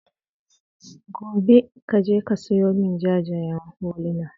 Gobe, ka je ka sayo min jajayen huluna.